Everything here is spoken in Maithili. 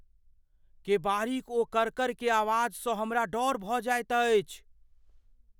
केबाड़ीक ओ करकर के आवाजसँ हमरा डर भऽ जाइत अछि।